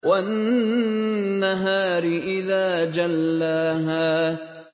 وَالنَّهَارِ إِذَا جَلَّاهَا